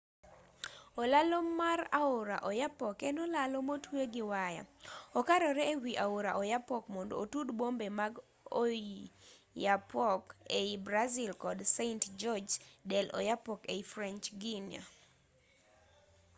olalo mar aora oyapock en olalo motwe gi waya okarore e wi aora oyapock mondo otud bombe mag oiapoque ei brazil kod saint-georges dei'oyapock ei french guiana